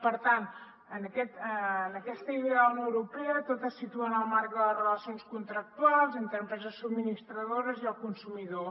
per tant en aquesta idea de la unió europea tot es situa en el marc de les relacions contractuals entre empreses subministradores i el consumidor